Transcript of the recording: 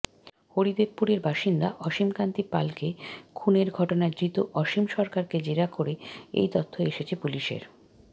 হরিদেবপুরের বাসিন্দা অসীমকান্তি পালকে খুনের ঘটনায় ধৃত অসীম সরকারকে জেরা করে এই তথ্য এসেছে পুলিশের